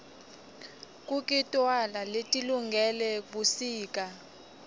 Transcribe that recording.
kukitoala letilungele busika